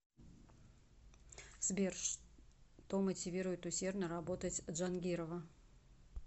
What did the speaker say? сбер что мотивирует усердно работать джангирова